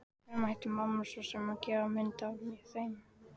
Hverjum ætti mamma svo sem að gefa mynd af þeim?